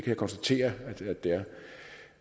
jeg konstatere at der